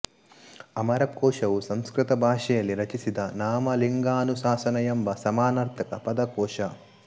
ಅಮರಕೋಶವು ಸಂಸ್ಕೃತ ಭಾಶೆಯಲ್ಲಿ ರಚಿಸಿದ ನಾಮಲಿಂಗಾನುಶಾಸನ ಎಂಬ ಸಮಾನಾರ್ಥಕ ಪದಕೋಶ